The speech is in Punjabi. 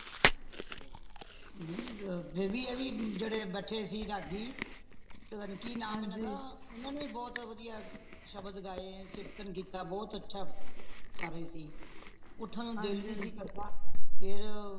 ਅ ਫੇਰ ਵੀ ਐਵੀ ਜੇੜੇ ਬੈਠੇ ਦੇ ਸੀ ਰਾਗੀ ਪਤਾ ਨਹੀਂ ਕਿਉਂ ਨਾਂ ਇਹਨਾ ਦਾ ਇਹਨਾਂ ਨੇ ਵੀ ਬਹੁਤ ਵਧੀਆ ਸ਼ਬਦ ਗਾਏ ਕੀਰਤਨ ਕੀਤਾ ਬਹੁਤ ਅੱਛਾ ਕਰ ਰਹੇ ਸੀ ਉੱਠਣ ਨੂੰ ਦਿਲ ਨਹੀਂ ਸੀ ਕਰਦਾ ਫੇਰ